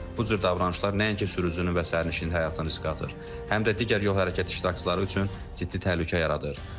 Bu cür davranışlar nəinki sürücünün və sərnişinin həyatını riskə atır, həm də digər yol hərəkəti iştirakçıları üçün ciddi təhlükə yaradır.